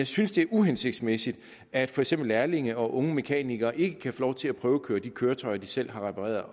synes det er uhensigtsmæssigt at for eksempel lærlinge og unge mekanikere ikke kan få lov til at prøvekøre de køretøjer de selv har repareret